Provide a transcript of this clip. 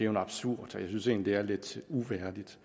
absurd og jeg synes egentlig at det er lidt uværdigt